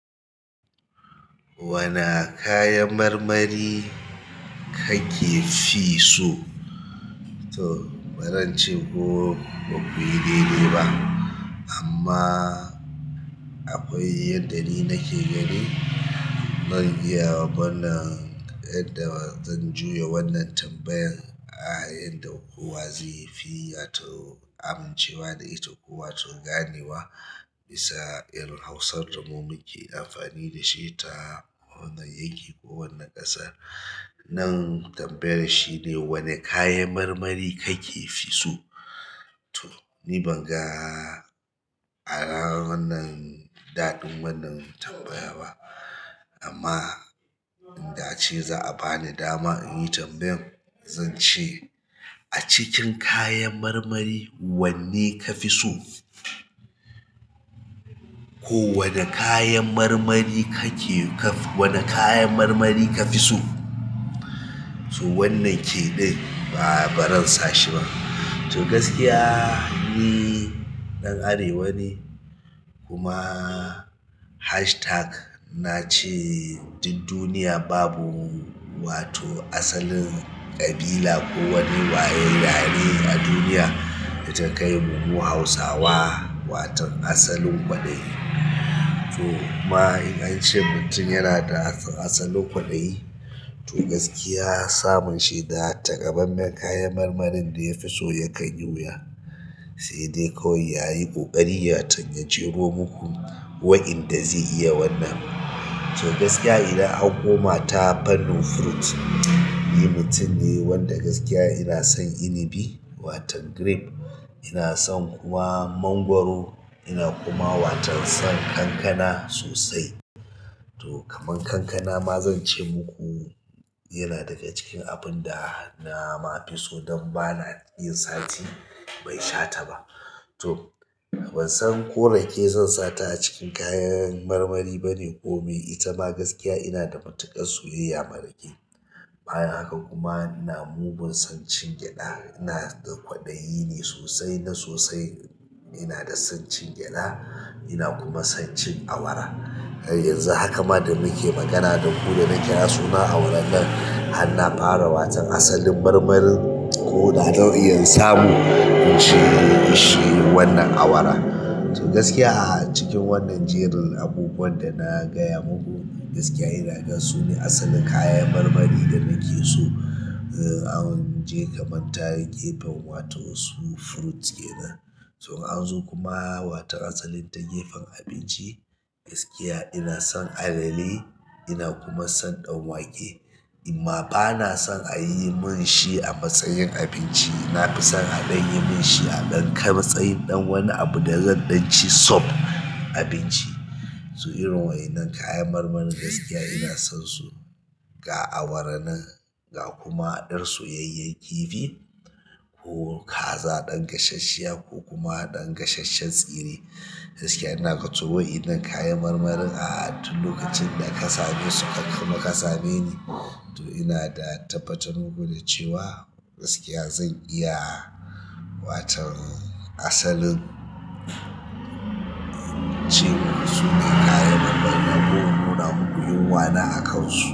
Wana kayan marmari kake fi so? To, ba zan ce ko bakuyi daidai ba amma akwai yandda ni nake daidai. Zan iya ban da yadda zan juya wannan tambayar. A yan da ko wa zai fi wato amincewa da ita ko wato gane wa bisa irir Hausar da mu muke amfani da shi ta wannan yanki ko wannan ƙasar. Nan tambayan shine, wani kayan marmari kake fi so? To ni ban ga a ranan nan daɗin wannan tambayar ba amma in da ce za a bani dama in yi tambayar, zan ce a cikin kayan marmari wanne ka fi so? Ko wane kayan marmari kake kaf, wane kayan marmari ka fi so? To wannan ke ɗai ba ba ran sashi ba. To gaskiya ni ɗan Arewa ne kuma hashtag na ce duk duniya babu wato asalin ƙabila ko wani yare yare a duniya da ta kai mu mu Hausawa waton asalin ƙwadayi to ma in an ce mutum yana da asa asalin kwaɗayi to gaskiya samun shi da takamaiman kayan marmarin da ya fi so yakan yi wuya. Sai dai kawai yayi ƙoƙari ya takaici ko uku waɗanda zai iya wannan. To gaskiya idan an koma ta pannin fruit, ni mutum ne wanda gaskiya ina son inibi wato grape, ina son kuma mangwaro ina kuma waton son kankana sosai. To kaman kankana ma zan ce muku yana dafe cikin abun da na ma fi so don bana yin sati ban sha ta ba. To ban san ko rake zan sata a cikin kayan marmari bane ko me ita ma gaskiya ina da matuƙar soyayya ma rake. Bayan haka kuma in na mugun son cin gyaɗa, in na da kwaɗayi ne sosai na sosai in na da son cin gyaɗa in na kuma son cin awara. A yanzu a hakan ma da muke magana da ku da na kira sunan awaran nan, har na fara wasan asalin marmarin ko da zan iya in samu in ci in ci wan nan awara. To gaskiya a cikin wannan jerin abubuwan da na gaya muku gaskiya ina gan su ne asalin kayan marmari da nake so. An je kaman ta gefen wato su fruits kenan. To an zo kuma wato asalin ta gefen abinci, gaskiya ina son alele ina kuma son ɗan wake amma ba na son a yi mun shi a matsayin abinci. Na fi son a ɗan yi mun shi a dan ka matsayin ɗan wani abu da zan ɗan ci sub abinci to irin waɗannan kayan marmarin gaskiya in na son su ga awaran nan ga kuma yar soyayyen kifi ko kaza ɗan gasasshiya ko kuma ɗan gasasshen tsire. Gaskiya in na ga to waɗannan kayan marmarin a duk lokacin da ƙasame su kakku ma ƙasame ne. To in na da tabbatar muku da cewa gaskiya zan iya waton asalin cin su ne kayan marmarin ko in nuna maku yunwa na akansu.